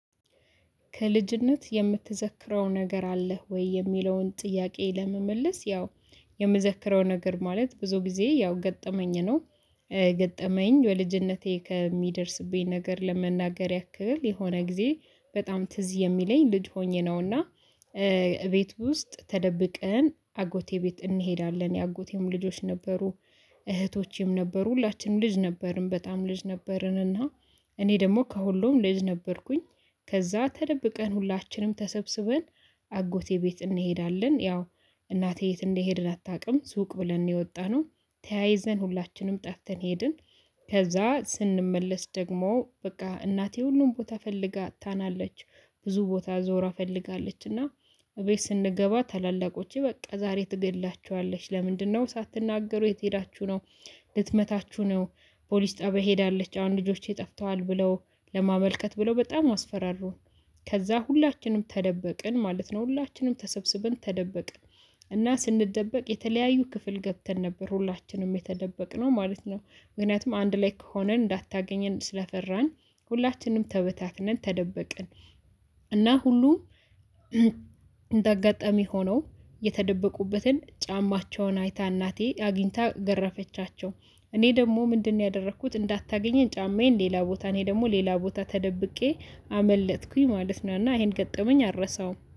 ከልጅነት የምትዘክረው ነገር አለህ ወይ? የሚለውን ጥያቄ ለመመለስ ያው የምዘክረው ነገር ማለት ብዙ ጊዜ ያው ገጠመኝ ነው። ገጠመኝ በልጅነቴ ከሚደርስብኝ ነገር ለመናገር ያክል የሆነ ጊዜ በጣም ትዝ የሚለኝ ልጅ ሆኜ ነው። እና ቤት ውስጥ ተደብቀን አጎቴ ቤት እንሄዳለን የአጎቴም ልጆች ነበሩ። እህቶቼም ነበሩ ሁላችንም ልጅ ነበርን በጣም ልጅ ነበርን እና እኔ ደግሞ ከሁሉም ልጅ ነበርኩኝ። ከዛ ተደብቀን ሁላችንም ተሰብስበን አጎቴ ቤት እንሄዳለን። ያው እናቴ የት እንዲሄድን አታውቅም ሱቅ ብለን ነው የወጣነው ተያይዘን ሁላችንም ጠፍተን ሄድን። ከዛ ስንመለስ ደግሞ በቃ እናቴ ሁሉም ቦታ ፈልጋ አጥታናለች። ብዙ ቦታ ዞራ ፈልጋለች። እና እቤት ስንገባ ታላላቆቼ በቃ ዛሬ ትገድላችኋለች ለምንድነው ሳትናገሩ የት ሄዳችሁ ነው? ልትመታችሁ ነው። ፖሊስ ጣቢያ ሄዳለች አሁን ልጆቼ ጠፍተዋል ብለው ለማመልከት ብለው በጣም አስፈራሩን። ከዛ ሁላችንም ተደበቅን ማለት ነው ሁላችንም ተሰብስበን ተደበቅን። እና ስንደበቅ የተለያዩ ክፍል ገብተን ነበር ሁላችንም የተደበቅነው ማለት ነው ምክንያቱም አንድ ላይ ከሆነ እንዳታገኘን ስለፈራን ሁላችንም ተበታትነን ተደበቅን። እና ሁሉ እንደ አጋጣሚ ሆኖ የተደበቁበትን ጫማቸውን አይታ እናቴ አግኝታ ገረፈቻቸው። እኔ ደግሞ ምንድነው ያደረኩት እንዳታገኘን ጫማዬን ሌላ ቦታ እኔ ደግሞ ሌላ ቦታ ተደብቄ አመለጠኩኝ ማለት ነው። እና ይሄን ገጠመኝ አልረሳውም